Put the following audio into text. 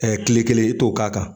kile kelen i t'o k'a kan